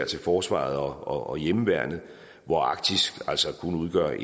til forsvaret og hjemmeværnet hvor arktis altså kun udgør